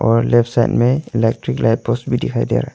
और left side में electric light post भी दिखाई दे रहा--